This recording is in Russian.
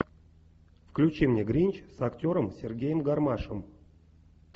включи мне гринч с актером сергеем гармашем